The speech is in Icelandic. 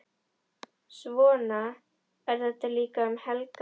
Svona er þetta líka um helgar.